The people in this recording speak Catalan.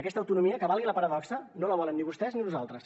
aquesta autonomia que valgui la paradoxa no la volen ni vostès ni nosaltres